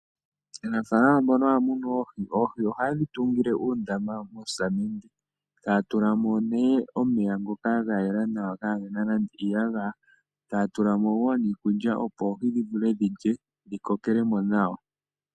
Aanafaalama mboka haya munu oohi, oohi ohaye dhi tungile uundama mosamende. Ohaya tula mo omeya ngoka ga yela kaage na iiyagaya, yo taya tula mo wo iikulya, opo oohi dhi vule dhi lye dhi kokele mo nawa.